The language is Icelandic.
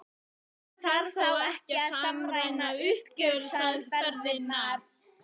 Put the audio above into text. En þarf þá ekki að samræma uppgjörsaðferðirnar?